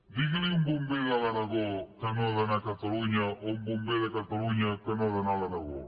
digui li a un bomber de l’aragó que no ha d’anar a catalunya o a un bomber de catalunya que no ha d’anar a l’aragó